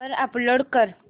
वर अपलोड कर